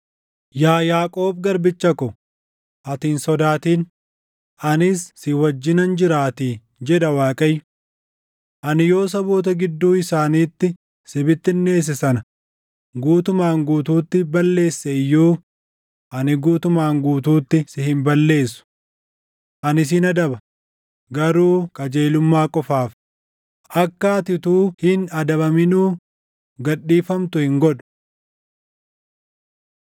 Yaa Yaaqoob garbicha ko, ati hin sodaatin; anis si wajjinan jiraatii” jedha Waaqayyo. “Ani yoo saboota gidduu isaaniitti si bittinneesse sana guutumaan guutuutti balleesse iyyuu ani guutumaan guutuutti si hin balleessu. Ani sin adaba; garuu qajeelummaa qofaan; akka ati utuu hin adabaminuu gad dhiifamtu hin godhu.”